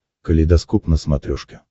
калейдоскоп на смотрешке